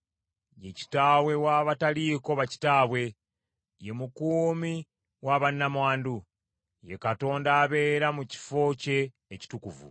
Ye Kitaawe w’abataliiko bakitaabwe, ye mukuumi wa bannamwandu; ye Katonda abeera mu kifo kye ekitukuvu.